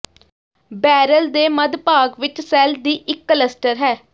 barrel ਦੇ ਮੱਧ ਭਾਗ ਵਿਚ ਸੈੱਲ ਦੀ ਇੱਕ ਕਲੱਸਟਰ ਹੈ